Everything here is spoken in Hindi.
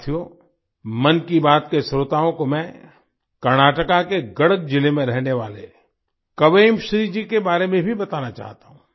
साथियो मन की बात के श्रोताओं को मैं कर्नाटका के गडक जिले में रहने वाले क्वेमश्री जी के बारे में भी बताना चाहता हूँ